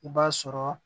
I b'a sɔrɔ